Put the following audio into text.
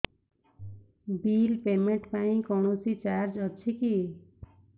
bill payment ପାଇଁ କୌଣସି charge ଅଛି କି